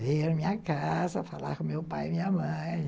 Veio na minha casa falar com meu pai e minha mãe.